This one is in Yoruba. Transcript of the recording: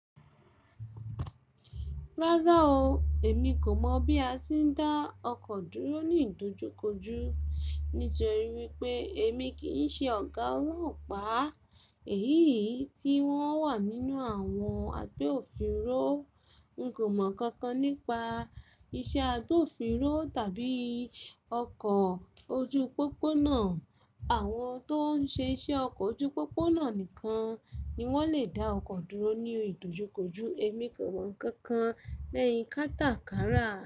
Rárá o, èmi kò mọ̀ bí a ti ń dá ọkọ̀ dúró ní ìdojúkoju. Nítorí wípé èmi kì í ṣe ọ̀gá ọlọ́pàá èyí tí wọ́n wà nínú àwọn àgbẹ̀ òfìnro. N kò mọ̀ nkankan nípa iṣẹ́ àgbẹ̀ òfìnro tàbí ọkọ̀ ojú pópónà. Àwọn tó ń ṣe iṣẹ́ ọkọ̀ ojú pópónà nìkan ni wọ́n lè dá ọkọ̀ dúró ní ìdojúkoju. Èmi kò mọ̀ nkankan lẹ́yìn kátàkárà.